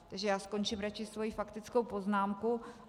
Takže já skončím radši svoji faktickou poznámku.